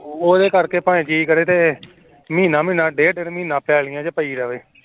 ਉਹਦੇ ਕਰਕੇ ਜੀ ਕਰੇ ਤੇ ਭਾਵੇਂ ਮਹੀਨਾ ਡੇਢ ਮਹੀਨਾ ਪੈਲੀਆਂ ਚ ਪਈ ਰਏ